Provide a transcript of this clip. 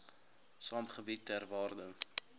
sakegebiede ter waarde